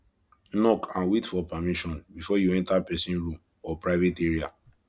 knock and wait for permission before you enter person room or private area